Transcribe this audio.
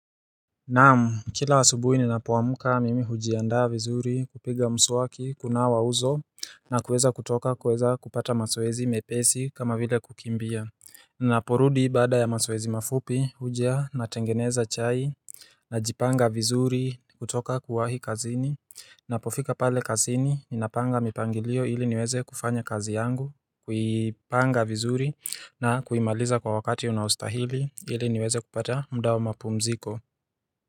Naam kila asubuhi ninapoamka mimi hujiandaa vizuri kupiga mswaki kunawa uso na kuweza kutoka kuweza kupata mazoezi mepesi kama vile kukimbia Ninaporudi baada ya mazoezi mafupi huja natengeneza chai najipanga vizuri kutoka kuwahi kazini Ninapofika pale kazini ninapanga mipangilio ili niweze kufanya kazi yangu kuipanga vizuri na kuimaliza kwa wakati unaostahili ili niweze kupata muda wa mapumziko.